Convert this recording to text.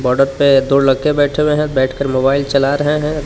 Border पे दो लड़के बैठे हुए हैं बैठकर मोबाइल चला रहे हैं।